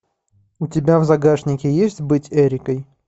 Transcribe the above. у тебя в загашнике есть быть эрикой